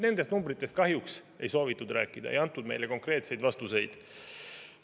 Nendest numbritest kahjuks ei soovitud rääkida, ei antud meile konkreetseid vastuseid.